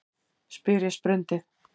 spyr ég sprundið.